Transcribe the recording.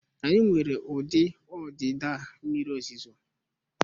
Anyị nwere ụdị ọdịda mmiri ozuzo